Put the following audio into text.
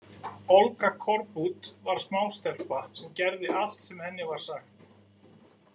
Olga Korbut var smástelpa sem gerði allt sem henni var sagt.